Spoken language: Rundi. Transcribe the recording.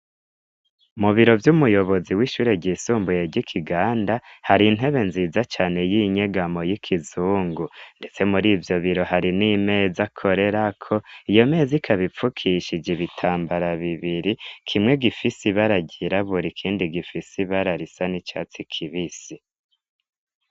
mubiro ry'umuyobozi w'ishure ryisumbuye ry'ikiganda hari intebe nziza cane y'inyegamo y'ikizungu ndetse muri ivyobiro hari n'imeza korerako iyo meza ikabipfukishije ibitambara bibiri kimwe gifise ibara ryirabura ikindi gifise bararisa n'icatsi kibisi